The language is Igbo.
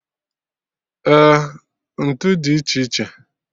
Eh, ntụ dị iche iche